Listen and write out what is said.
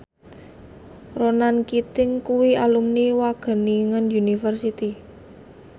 Ronan Keating kuwi alumni Wageningen University